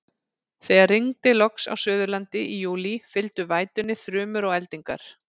Þegar rigndi loks á Suðurlandi í júlí, fylgdu vætunni þrumur og eldingar.